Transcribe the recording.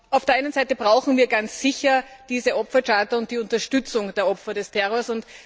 Auf der einen Seite brauchen wir ganz sicher diese Opfercharta und die Unterstützung der Opfer des Terrors.